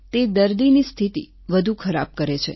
તે દર્દીની સ્થિતિ વધુ ખરાબ કરે છે